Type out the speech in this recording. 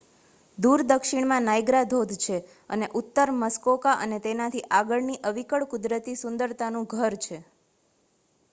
દૂર દક્ષિણમાં નાયગ્રા ધોધ છે અને ઉત્તર મસ્કોકા અને તેનાથી આગળની અવિકળ કુદરતી સુંદરતાનું ઘર છે